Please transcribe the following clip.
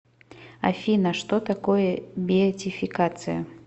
афина что такое беатификация